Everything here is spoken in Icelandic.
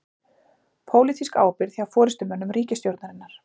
Pólitísk ábyrgð hjá forystumönnum ríkisstjórnarinnar